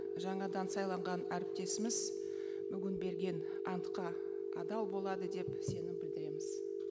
жаңадан сайланған әріптесіміз бүгін берген антқа адал болады деп сенім білдіреміз